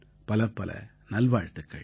பலப்பல நல்வாழ்த்துக்கள்